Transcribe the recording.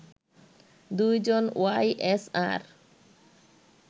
২ জন Y SR